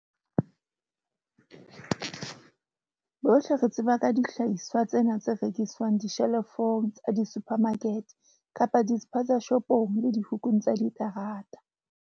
Bohle re tseba ka dihlahiswa tsena tse rekiswang dishelofong tsa disuphamakete kapa diSphazashopong le dihukung tsa diterata.